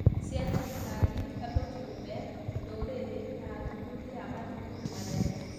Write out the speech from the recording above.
cia thirikari, andũ kĩũmbe, ndũrĩrĩ, na athuthuria a mathukuru manene